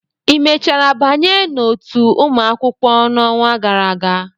ị mechara banye n'otu ụmụ akwụkwọ n'ọnwa gara aga?